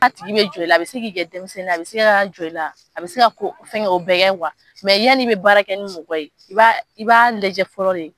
N'a tigi bɛ jɔ i la a bɛ se k'ɛ denmisɛnnin a bɛ se ka jɔ i la, a bɛ se ka o bɛ yani i bɛ baara kɛ ni mɔgɔ ye, i b'a i b'a lajɛ fɔlɔ de.